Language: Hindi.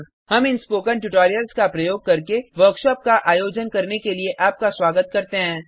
हम इन स्पोकन ट्यूटोरियल्स का प्रयोग करके वर्कशॉप का आयोजन करने के लिए आपका स्वागत करते हैं